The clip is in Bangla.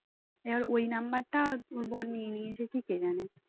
এবার ওই নাম্বার টা বর নিয়ে নিয়েছে কি কে জানে